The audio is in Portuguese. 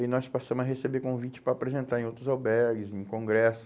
E aí nós passamos a receber convite para apresentar em outros albergues, em congresso.